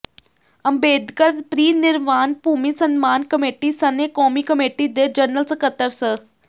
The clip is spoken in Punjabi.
ਅੰਬੇਦਕਰ ਪ੍ਰੀਨਿਰਵਾਣ ਭੂਮੀ ਸਨਮਾਨ ਕਮੇਟੀ ਸਣੇ ਕੌਮੀ ਕਮੇਟੀ ਦੇ ਜਨਰਲ ਸਕੱਤਰ ਸ